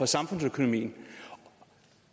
samfundsøkonomien